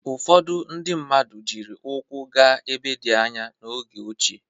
Ụfọdụ ndị mmadụ jiri ụkwụ gaa ebe dị anya n'oge ochie.